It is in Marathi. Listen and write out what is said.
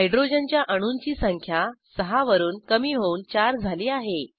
हायड्रोजनच्या अणूंची संख्या 6 वरून कमी होऊन 4 झाली आहे